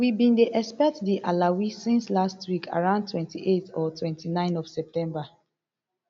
we bin dey expect di alawee since last week around twenty-eight or twenty-nine of september